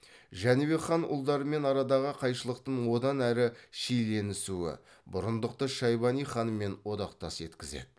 жәнібек хан ұлдарымен арадағы қайшылықтың одан әрі шиеленісуі бұрындықты шайбани ханмен одақтас еткізеді